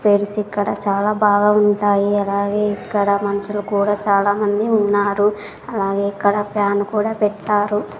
తెలుసు ఇక్కడ చాలా బాగా ఉంటాయి అలాగే ఇక్కడ మనుషులు కూడా చాలామంది ఉన్నారు అలాగే ఇక్కడ ఫ్యాన్ కూడా పెట్టారు.